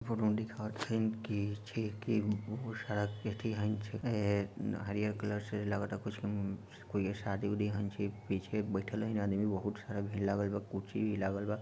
photo में दिखावे छीन की छिकी बहुत सारा एती हन छेके हरियर कलर से लगता कुछु कोई शादी-वादी हन छे| पीछे बइठल है आदमी बहुत सारा भिड़ लागल बा कुर्सी भी लागल बा|